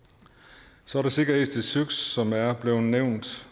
så er der sikkerhed til søs som er blevet nævnt